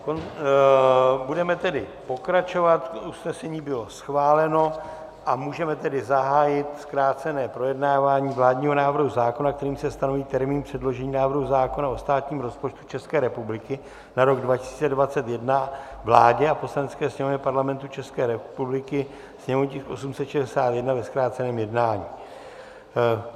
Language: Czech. Budeme tedy pokračovat, usnesení bylo schváleno, a můžeme tedy zahájit zkrácené projednávání vládního návrhu zákona, kterým se stanoví termín předložení návrhu zákona o státním rozpočtu České republiky na rok 2021 vládě a Poslanecké sněmovně Parlamentu České republiky, sněmovní tisk 861, ve zkráceném jednání.